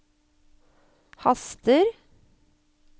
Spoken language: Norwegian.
haster